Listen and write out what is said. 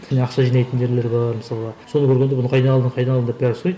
і ақша жинайтын жерлері бар мысалға соны көргенде бұны қайдан алдың қайдан алдың деп бәрі сұрайды